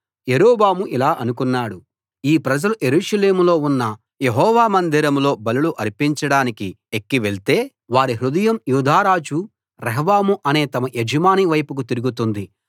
యరొబాము ఇలా అనుకున్నాడు ఈ ప్రజలు యెరూషలేములో ఉన్న యెహోవా మందిరంలో బలులు అర్పించడానికి ఎక్కి వెళ్తే వారి హృదయం యూదారాజు రెహబాము అనే తమ యజమాని వైపుకు తిరుగుతుంది